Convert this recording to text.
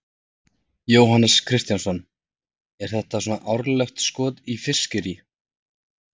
Jóhannes Kristjánsson: Er þetta svona árlegt skot í fiskiríi?